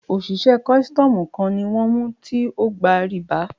Òṣìṣẹ́ kọ́sítọ́mù kan ni wọ́n mú tí ógba rìbá.